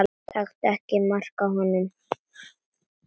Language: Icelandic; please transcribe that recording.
Taktu ekki mark á honum.